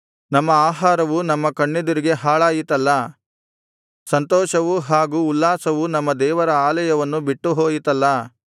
ನಮ್ಮ ಆಹಾರವು ನಮ್ಮ ಕಣ್ಣೆದುರಿಗೆ ಹಾಳಾಯಿತಲ್ಲಾ ಸಂತೋಷವೂ ಹಾಗೂ ಉಲ್ಲಾಸವೂ ನಮ್ಮ ದೇವರ ಆಲಯವನ್ನು ಬಿಟ್ಟುಹೋಯಿತ್ತಲ್ಲಾ